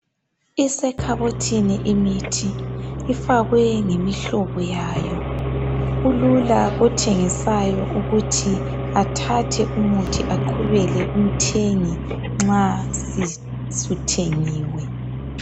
Isekhabothini imithi ifakwe ngemihlobo yayo, kulula kothengisayo ukuthi athathe umuthi aqhubele umthengi nxa suthengiwe.